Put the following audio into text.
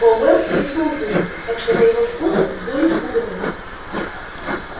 пауэлл стиснул зубы так что на его скулах вздулись бугры